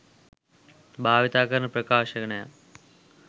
භාවිතා කරන ප්‍රකාශනයක්.